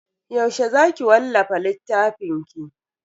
Yaushe za ki wallafa littafinki?